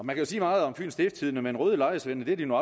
man kan sige meget om fyens stiftstidende men røde lejesvende er de nu